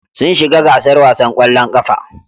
Sun shiga gasar wasan ƙwallon ƙafa.